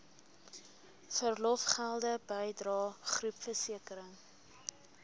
verlofgelde bydrae groepversekering